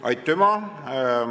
Aitüma!